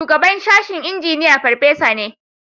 Shugaban sashen Injiniya farfesa ne